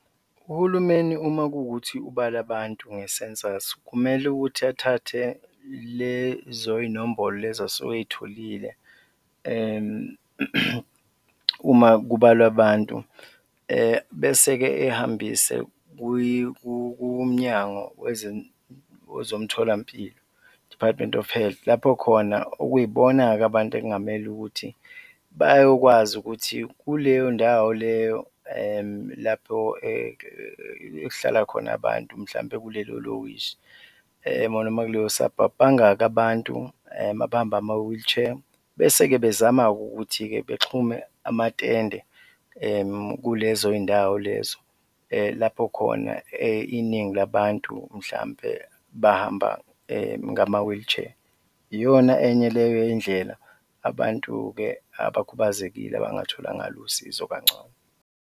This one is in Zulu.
Uhulumeni uma kuwukuthi ubala abantu nge-census, kumele ukuthi athathe lezo iy'nombolo lezo asuke ey'tholile uma kubalwa abantu bese-ke ey'hambise kuMnyango Wezomtholampilo, Department of Health, lapho khona okuyibona-ke abantu ekungamele ukuthi bayokwazi ukuthi kuleyo ndawo leyo lapho ekuhlala khona abantu, mhlawumbe kulelo lokishi noma kuleyo suburb, bangaki abantu abahamba ngama-wheelchair bese-ke bezama-ke ukuthi-ke bexhume amatende kulezo zindawo lezo, lapho khona iningi labantu mhlawumbe bahamba ngama-wheelchair, iyona enye leyo yey'ndlela abantu-ke abakhubazekile abangathola ngalo usizo kangcono.